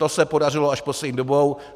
To se podařilo až poslední dobou.